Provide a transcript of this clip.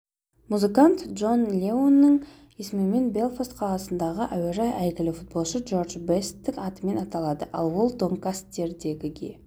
музыкант джон леннонның есімімен белфаст қаласындағы әуежай әйгілі футболшы джордж бесттің атымен аталады ал донкастердегіге